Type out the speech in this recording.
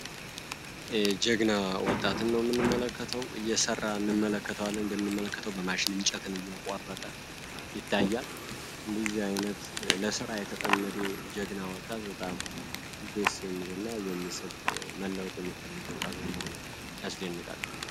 ጀግና ወጣትን ነው ምንመለከተው እየሠራ እንመለከተዋለን እንደምንመለከተው በማሽን እንጨትን እየቆረጠ ይታያል እንዲዚህ ዓይነት ለሠራ የተጠመዴ ጀግና ወጣት በጣም ዴስ የሚል እና መለወጥ የሚፈልግ ወጣት በመሆኑ ያስደንቃል።